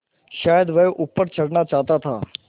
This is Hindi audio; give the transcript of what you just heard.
शायद वह ऊपर चढ़ना चाहता था